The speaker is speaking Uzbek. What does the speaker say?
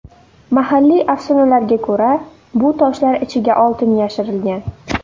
Mahalliy afsonalarga ko‘ra, bu toshlar ichiga oltin yashirilgan.